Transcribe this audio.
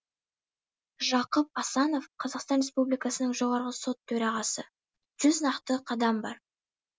жақып асанов қазақстан республикасының жоғарғы сот төрағасы жүз нақты қадам бар